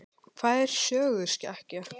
Hvað er söguskekkja?